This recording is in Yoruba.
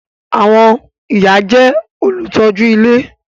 Àwọn ìyá jẹ́ olùtọ́jú ilé